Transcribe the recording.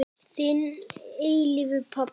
Þinn að eilífu, pabbi.